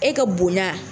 E ka bonya